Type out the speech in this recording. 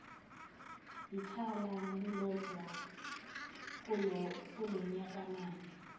yithala lilodwa kulonyakamali